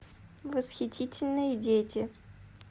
восхитительные дети